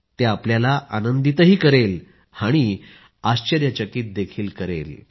ते आपल्याला आनंदितही करेल आणि आश्चर्यचकित देखील करेल